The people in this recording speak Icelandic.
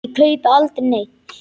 Ég kaupi aldrei neitt.